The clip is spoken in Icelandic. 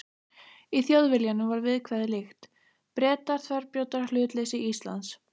Í Þjóðviljanum var viðkvæðið líkt: Bretar þverbrjóta hlutleysi Íslands.